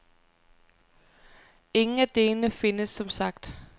Ingen af delene findes som sagt.